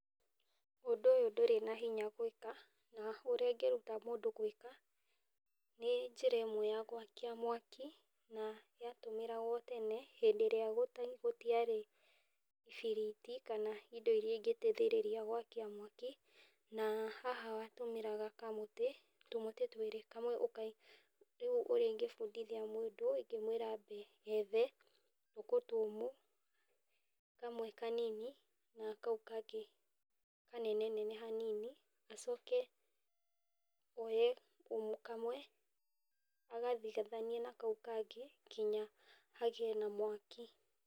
Ũndũ ũyũ ndũrĩ na hinya gwĩka, na ũrĩa ingĩruta mũndũ gwĩka, nĩ njĩra ĩmwe ya gwakia mwaki, na ya tũmagĩrwo tene hĩndĩ ĩrĩa gũtiarĩ ibiriti, kana indo iria ingĩteithĩrĩria gwakia mwaki, na haha watũmagĩra kamũtĩ, tũmĩtĩ twĩrĩ, kamwe ũka, rĩu ũrĩa ingĩbundithia mũndũ ingĩmwĩra ethe tũkũ tũmũ, kamwe kanini na kamwe kangĩ kanenanene hanini, acoke woye kamwe agathigithanie na kau kangĩ kinya hagĩe na mwaki.